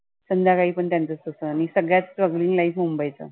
संध्याकाळी पण त्यांच तसं आणि सगळ्यात चांगलं strugling life मुंबईचं.